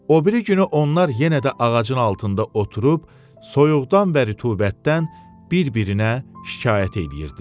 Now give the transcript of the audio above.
O biri günü onlar yenə də ağacın altında oturub soyuqdan və rütubətdən bir-birinə şikayət eləyirdilər.